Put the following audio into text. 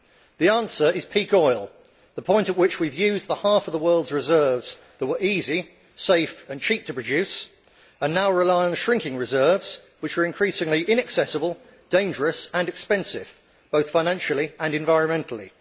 The answer is peak oil the point at which we have used the half of the world's reserves that were easy, safe and cheap to produce, and now rely on shrinking reserves which are increasingly inaccessible, dangerous and expensive, both financially and environmentally.